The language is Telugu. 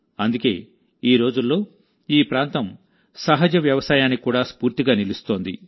అందుకే ఈ రోజుల్లో ఈ ప్రాంతం సహజ వ్యవసాయానికి కూడా స్ఫూర్తిగా నిలుస్తోంది